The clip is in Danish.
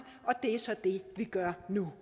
og det er så det vi gør nu